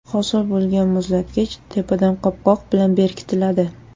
Hosil bo‘lgan muzlatkich tepadan qopqoq bilan berkitiladi.